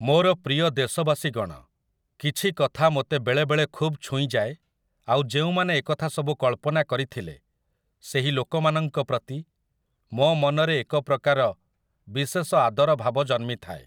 ମୋର ପ୍ରିୟ ଦେଶବାସୀଗଣ, କିଛି କଥା ମୋତେ ବେଳେବେଳେ ଖୁବ୍ ଛୁଇଁଯାଏ ଆଉ ଯେଉଁମାନେ ଏକଥା ସବୁ କଳ୍ପନା କରିଥିଲେ ସେହି ଲୋକମାନଙ୍କ ପ୍ରତି ମୋ ମନରେ ଏକ ପ୍ରକାର ବିଶେଷ ଆଦର ଭାବ ଜନ୍ମିଥାଏ ।